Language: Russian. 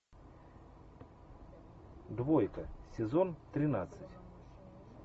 двойка сезон тринадцать